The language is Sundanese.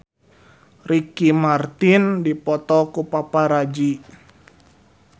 Ricky Martin dipoto ku paparazi